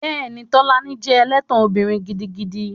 Bẹ́ẹ̀ni, Tolani jẹ́ ẹlẹ́tàn obìnrin gidigidi